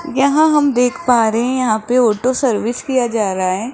यहां हम देख पा रहे हैं यहां पे ऑटो सर्विस किया जा रहा है।